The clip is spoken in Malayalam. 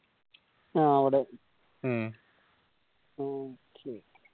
ആ അവിടെ ഉം okay